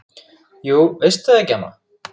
Jú veistu það ekki, amma?